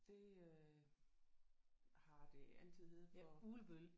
Det øh har det altid heddet for